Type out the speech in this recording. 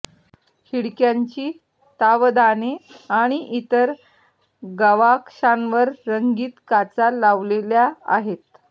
खिडक्यांची तावदाने आणि इतर गवाक्षांवर रंगीत काचा लावलेल्या आहेत